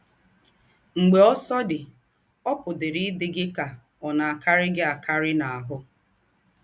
Mḡbè ǒsọ̀̀dí, ọ̀ pụ̀dịrị ídị gị kà ọ̀ kàrírí gị àkàrí n’áhụ́.